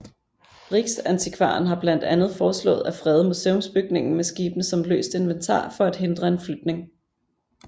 Riksantikvaren har blandt andet foreslået at frede museumsbygningen med skibene som løst inventar for at hindre en flytning